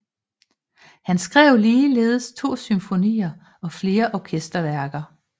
Han skrev ligeledes to symfonier og flere orkesterværker